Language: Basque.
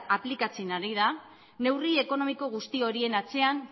aplikatzen ari da neurri ekonomiko guzti horien atzean